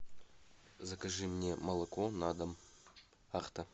закажи мне молоко на дом ахта